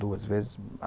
Duas vezes.